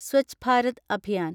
Swachh Bharat Abhiyan